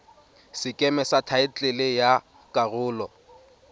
sekeme sa thaetlele ya karolo